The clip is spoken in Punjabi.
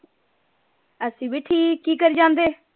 ਅਸੀਂ ਵੀ ਠੀਕ ਕੀ ਕਰੀ ਜਾਂਦੇ?